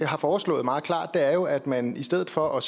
har foreslået meget klart er jo at man i stedet for at